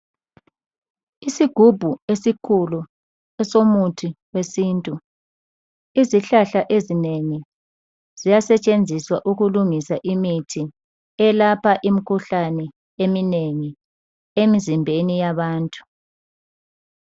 Isigumbu esikhulu esomuthi wesintu izihlahla ezinengi ziyasetshenziswa ukulungisa imithi elapha imikhuhlane eminengi emizimbeni yabantu.